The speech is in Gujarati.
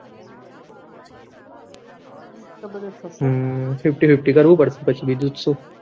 હમ Fifty Fifty કરવું પડશે પછી તો બીજું તો શું